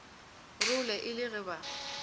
role e le ge ba